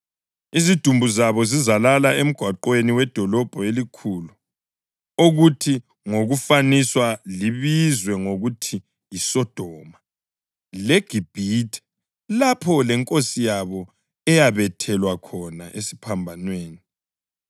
Izidumbu zabo zizalala emgwaqweni wedolobho elikhulu okuthi ngokufaniswa libizwe ngokuthi yiSodoma leGibhithe lapho leNkosi yabo eyabethelwa khona esiphambanweni.